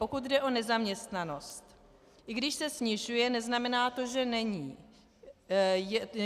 Pokud jde o nezaměstnanost, i když se snižuje, neznamená to, že není.